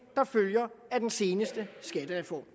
der følger af den seneste skattereform